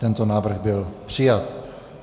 Tento návrh byl přijat.